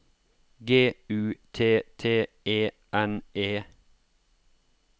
G U T T E N E